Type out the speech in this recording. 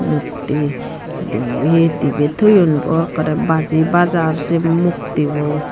mukti dibe dibe toyon boa ekkore baji bajar sey muktibo.